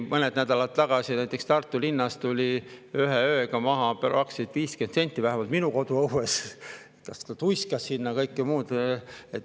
Mõned nädalad tagasi tuli näiteks Tartu linnas ühe ööga maha praktiliselt 50 senti, vähemalt minu koduõuel, tuiskas sinna ja kõike muud.